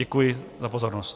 Děkuji za pozornost.